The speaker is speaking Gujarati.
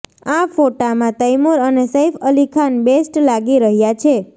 આ ફોટામાં તૈમુર અને સૈફ અલી ખાન બેસ્ટ લાગી રહ્યા છે